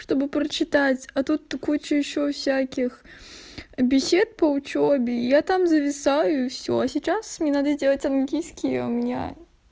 чтобы прочитать а тут куча ещё всяких бесед по учёбе я там зависаю и всё сейчас мне надо сделать английский а у меня